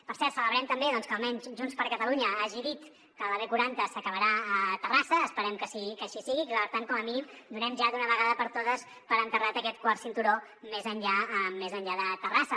per cert celebrem també doncs que almenys junts per catalunya hagi dit que la b quaranta s’acabarà a terrassa esperem que així sigui i que per tant com a mínim donem ja d’una vegada per totes per enterrat aquest quart cinturó més enllà de terrassa